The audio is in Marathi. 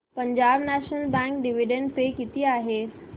Punjab National Bank dividend pay किती आहे